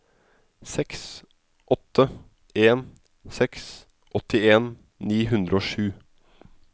seks åtte en seks åttien ni hundre og sju